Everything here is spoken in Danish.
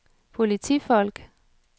politifolk